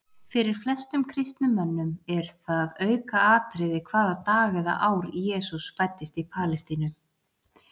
Fyrir flestum kristnum mönnum er það aukaatriði hvaða dag eða ár Jesús fæddist í Palestínu.